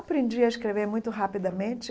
Aprendi a escrever muito rapidamente.